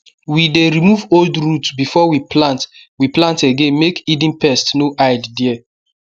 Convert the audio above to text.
we dey remove old root before we plant we plant again make hidden pest no hide there